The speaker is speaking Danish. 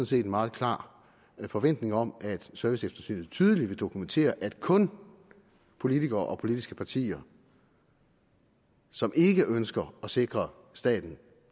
set en meget klar forventning om at serviceeftersynet tydeligt vil dokumentere at kun politikere og politiske partier som ikke ønsker at sikre staten